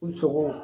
U sogo